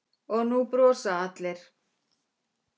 Og nú brosa allir.